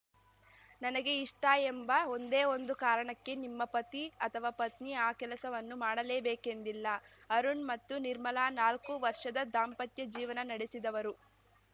ನನಗೆ ಇಷ್ಟ ಎಂಬ ಒಂದೇ ಒಂದು ಕಾರಣಕ್ಕೆ ನಿಮ್ಮ ಪತಿ ಅಥವಾ ಪತ್ನಿ ಆ ಕೆಲಸವನ್ನು ಮಾಡಲೇಬೇಕೆಂದಿಲ್ಲ ಅರುಣ್‌ ಮತ್ತು ನಿರ್ಮಲಾ ನಾಲ್ಕು ವರ್ಷದ ದಾಂಪತ್ಯ ಜೀವನ ನಡೆಸಿದವರು